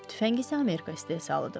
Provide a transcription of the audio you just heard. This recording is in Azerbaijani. Tüfəng isə Amerika istehsalıdır.